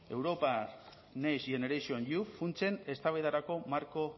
europar next generation eu funtsen eztabaidarako marko